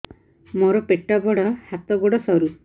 ମୋର ପେଟ ବଡ ହାତ ଗୋଡ ସରୁ